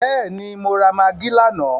Bẹ́ẹ̀ni, mo rà magí lánàá.